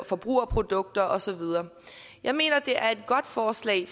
forbrugerprodukter og så videre jeg mener det er et godt forslag